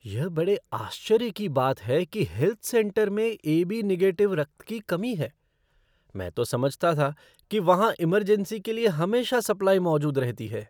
यह बड़े आश्चर्य की बात है कि हेल्थ सेंटर में ए.बी. निगेटिव रक्त की कमी है। मैं तो समझता था कि वहाँ इमरजेंसी के लिए हमेशा सप्लाई मौजूद रहती है।